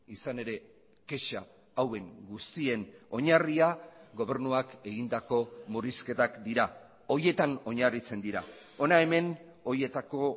izan ere kexa hauen guztien oinarria gobernuak egindako murrizketak dira horietan oinarritzen dira hona hemen horietako